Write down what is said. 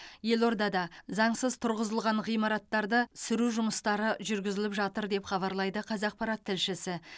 елордада заңсыз тұрғызылған ғимараттарды сүру жұмыстары жүргізіліп жатыр деп хабарлайды қазақпарат тілшісі